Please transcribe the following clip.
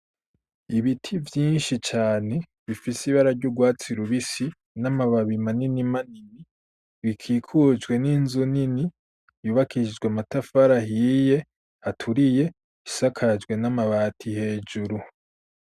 Ibiti vyinshi cane bifise ibara ry'ugwatsi rubisi, n'amababi manini manini, bikikujwe n'inzu nini, yubakishijwe amatafari ahiye aturiye, isakajwe n'amabati hejuru.